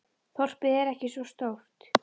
Þorpið er ekki svo stórt.